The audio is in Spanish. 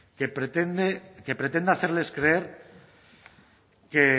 que pretenda hacerles creer que